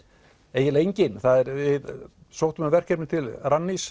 eiginlega engin við sóttum um verkefni til Rannís